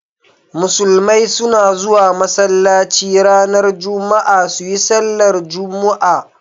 Musulmai suna zuwa masallaci ranar Juma'a su yi sallar jumu'a.